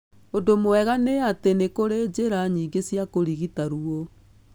Ũndũ mwega nĩ atĩ nĩ kũrĩ njĩra nyingĩ cia kũrigita ruo.